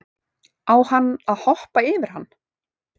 Á hann að hoppa yfir hann?